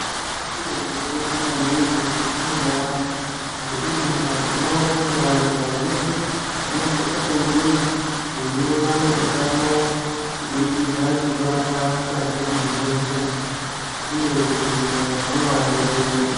Utano chiro chakakosha maningi mukati mwendaramo ngeimwe ndaa tinoona kuti vanhu vazhinji vanosise kunge veiona utano kubirikidza ngekurapwa mukati muzvibhedhleya uye zvibhedhlera zvinovadetsera.